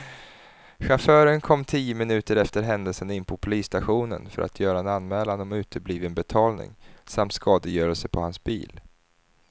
Chauffören kom tio minuter efter händelsen in på polisstationen för att göra en anmälan om utebliven betalning samt skadegörelse på hans bil.